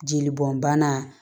Jeli bɔn bana